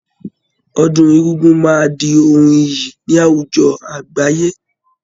Ọdún egúngún máa di ohun iyì ni àwùjọ àgbáyé